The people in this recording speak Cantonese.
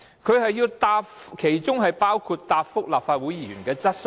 政府的工作包括答覆立法會議員的質詢。